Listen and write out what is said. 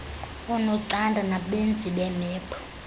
oonocanda nabenzi beemephu